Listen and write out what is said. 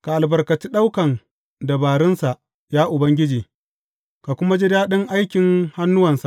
Ka albarkaci ɗaukan dabarunsa, ya Ubangiji, ka kuma ji daɗin aikin hannuwansa.